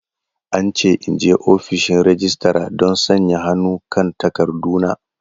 An ce in je ofishin registra don sanya hannu kan takarduna.